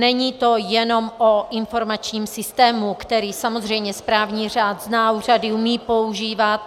Není to jenom o informačním systému, který samozřejmě správní řád zná, úřady umějí používat.